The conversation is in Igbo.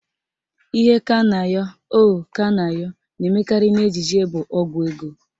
Ihe Kanayo O Kanayo na-emekarị n'ejije bụ Ọgwụ ego